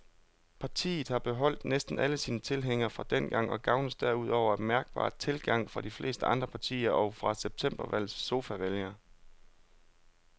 Partiet har beholdt næsten alle sine tilhængere fra dengang og gavnes derudover af mærkbar tilgang fra de fleste andre partier og fra septembervalgets sofavælgere.